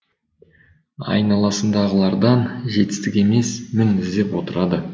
айналасындағылардан жетістік емес мін іздеп отырады